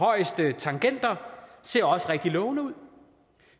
højeste tangenter ser også rigtig lovende ud